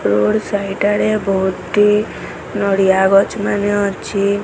Road ସାଇଟା side ରେ ବହୁତି ନଡ଼ିଆ ଗଛ୍ ମାନେ ଅଛି।